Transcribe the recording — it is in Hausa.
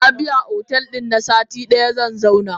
Nabiya otel din zanzauna na sati daya.